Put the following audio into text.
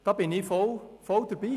Da bin ich voll dabei.